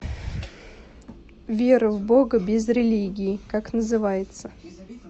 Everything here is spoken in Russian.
вера в бога без религии как называется